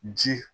Ji